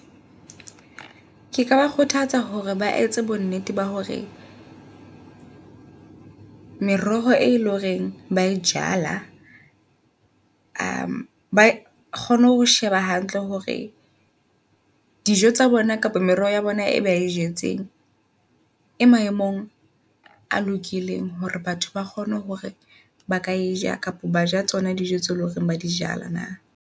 Keka ba kgothatsa hore ba etse bo nnete ba hore meroho e loreng ba e jala ba kgone ho sheba hantle hore dijo tsa bona kapa merero ya bona e ba e jetseng, e maemong a lokileng. Hore batho ba kgone hore baka e ja kapa ba ja tsona dijo tse loreng ba dijala na.